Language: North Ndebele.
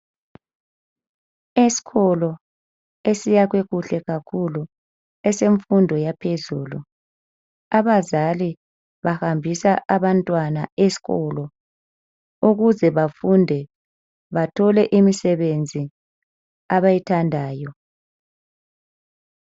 Esikolo esiyakhwe kuhle kakhulu esemfundo yaphezulu abazali bahambisa abantwana eaikolo ukuze bafunde bathole imisebenzi abayithandayo.